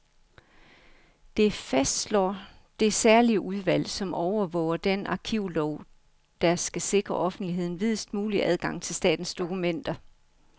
Det fastslår det særlige udvalg, som overvåger den arkivlov, der skal sikre offentligheden videst mulig adgang til statens dokumenter.